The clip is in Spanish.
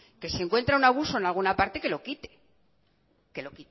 que si encuentra un abuso en alguna parte que lo quite